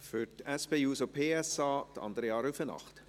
Für die SP-JUSO-PSA, Andrea Rüfenacht.